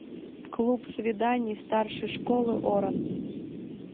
клуб свиданий старшей школы оран